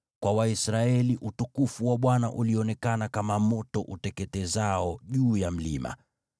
Kwa Waisraeli utukufu wa Bwana ulionekana kama moto uteketezao juu ya mlima.